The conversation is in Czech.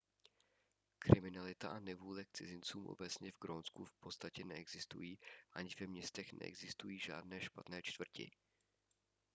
kriminalita a nevůle k cizincům obecně v grónsku v podstatě neexistují ani ve městech neexistují žádné špatné čtvrti